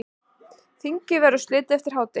Þinginu verður slitið eftir hádegi.